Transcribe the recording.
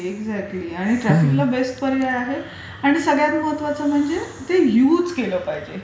Exactly, exactly आणि ट्राफिकला best पर्याय आहे. आणि सगळ्यात महत्वाचं म्हणजे ते युज केलं पाहिजे.